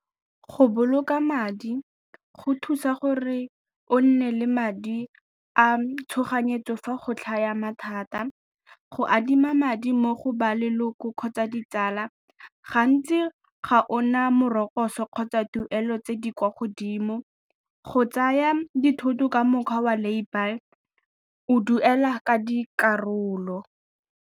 Go boloka madi go thusa gore o nne le madi a tshoganyetso fa go tlhaga mathata, go adima madi mo go ba leloko kgotsa ditsala gantsi ga o na morokotso kgotsa tuelo tse di kwa godimo, go tsaya dithoto ka mokgwa wa lay-bye, o duela ka dikarolo.